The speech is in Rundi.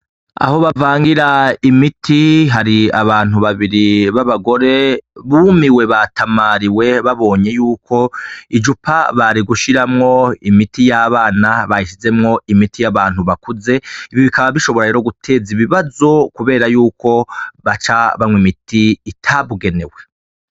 Aho bavangira imiti, hari abantu babiri b'abagore bumiwe, batamariwe, babonye yuko icupa bari gushiramwo imiti y'abana, barishizemwo imiti y'abantu bakuze. Ibi rero bikaba bishobora guteza ibibazo, kubera yuko baca banywa imiti itabigenewe.